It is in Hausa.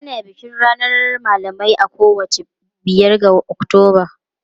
Ana bikin ranar malamai a kowace biyar ga Oktoba.